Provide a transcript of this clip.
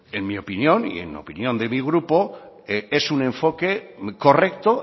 en mi opinión y en la opinión de mi grupo es un enfoque correcto